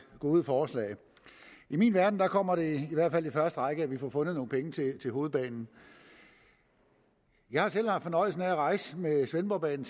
gode forslag i min verden kommer det i hvert fald i første række at vi får fundet nogle penge til hovedbanen jeg har selv haft fornøjelsen af at rejse med svendborgbanen